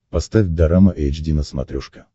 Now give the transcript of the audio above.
поставь дорама эйч ди на смотрешке